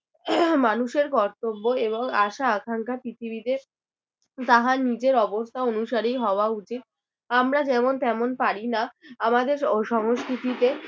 মানুষের কর্তব্য এবং আশা আকাঙ্ক্ষা পৃথিবীতে তাহার নিজের অবস্থা অনুসারেই হওয়া উচিত। আমরা যেমন তেমন পারি না আমাদের সংস্কৃতিতে